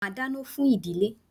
Màá dáná fún ìdílé.